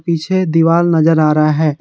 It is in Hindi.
पीछे दीवार नजर आ रहा है।